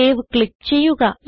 save click ചെയ്യുക